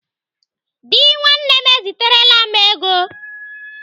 Dị nwanne m eziterela m ego.